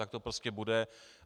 Tak to prostě bude.